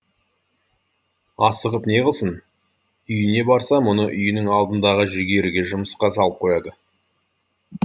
асығып неғылсын үйіне барса мұны үйінің алдындағы жүгеріге жұмысқа салып қояды